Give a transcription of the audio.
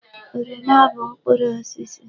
Oroma bụ mkpụrụ osisi.